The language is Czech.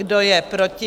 Kdo je proti?